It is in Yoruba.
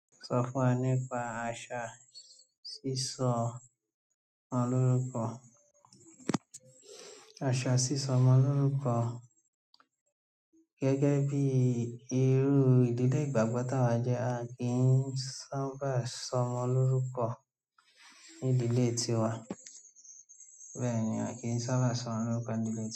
Sọ fún wa nípa àṣà sísọ ọmọ lórúkọ. Àṣà sísọ ọmọ lórúkọ gẹ́gẹ́ bí irú ìdílé ìgbàgbọ́ táa wà jẹ́, a kì í sábà sọ ọmọ lórúkọ ní ìdílé tiwa. Bẹ́ẹ̀ ni, a kì í sábà sọ ọmọ lórúkọ nílé.